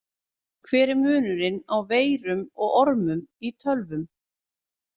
Hver er munurinn á veirum og ormum í tölvum?